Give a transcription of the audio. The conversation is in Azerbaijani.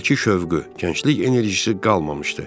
Əvvəlki şövqü, gənclik enerjisi qalmamışdı.